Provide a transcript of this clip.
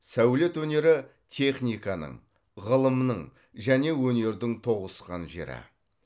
сәулет өнері техниканың ғылымның және өнердің тоғысқан жері